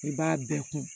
I b'a bɛɛ kun